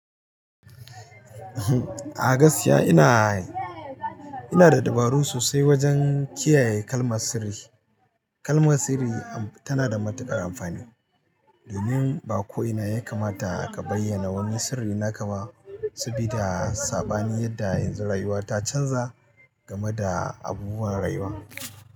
A gaskiya ina, ina da dabaru sosai wajen kiyaye kalmar sirri. Kalmar sirri tana da matuƙar amfani. Domin ba ko ina ya kamata a ka bayyana wani sirri na ka ba, sabida saɓani yadda yanzu rayuwa ta canza game da abubuwan rayuwa.